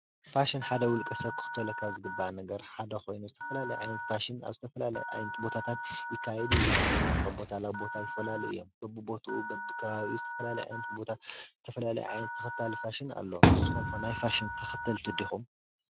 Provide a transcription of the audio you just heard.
ፋሽን ሓደ ውልቀ ሰብ ክክተሎ ካብ ዝግባእ ሓደ ኮይኑ ዝተፈላለየ ዓይነት ፋሽን ኣብ ዝተፈላለየ ዓይነት ቦታት ይካየዱ እዮም። ወይ ድማ ካብ ቦታ ናብ ቦታ ይፈላለዩ እዮም። በብቦትኡ በብከባቢኡ ዝተፈላለየ ዓይነት ቦታ ዝተፈላላየ ዓይነት ተከታሊ ፋሽን አሎ። ንስኩም ከ ናይ ፋሽን ተከተልቲ ድኩም?